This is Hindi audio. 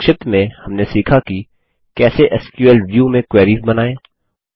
संक्षिप्त में हमने सीखा कि कैसे एसक्यूएल व्यू में क्वेरीस बनाएँ